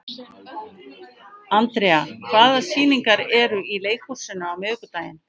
Andrea, hvaða sýningar eru í leikhúsinu á miðvikudaginn?